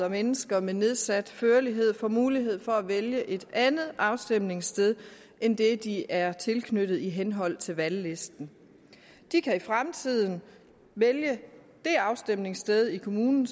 og mennesker med nedsat førlighed får mulighed for at vælge et andet afstemningssted end det de er tilknyttet i henhold til valglisten de kan i fremtiden vælge det afstemningssted i kommunen